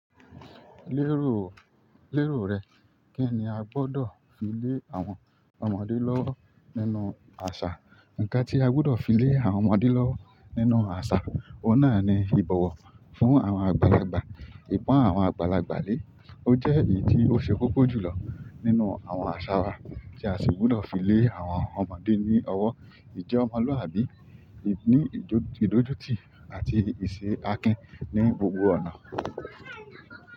Lérò, lérò rẹ. Kí ni a gbọ́dọ̀ fi lé àwọn ọmọdé lọ́wọ́ nínú àṣà? Ikan ti agbudo file àwọn ọmọdé lowo nínú asa oun náà ni ibowo fún àwọn àgbàlagbà. Ìpọn àwọn àgbàlagbà lé, ó jẹ́ èyí tí ó ṣe kókó jù lọ nínú àwọn àṣà wa tí a sì gbọ́dọ̀ fi lé àwọn ọmọdé ní ọwọ́. Ìjẹ́ ọmọlúwàbí lení ìdójútì àti ìṣe akín ní gbogbo ọ̀nà.